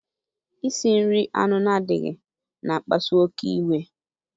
Isi nri anụ na-adịghị na akpasu oké iwe